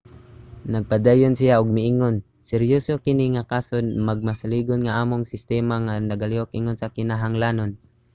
nagpadayon siya og miingon seryoso kini nga kaso. magmasaligon nga ang among sistema nagalihok ingon sa kinahanglanon.